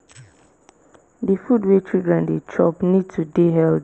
di food wey children dey chop need to dey healthy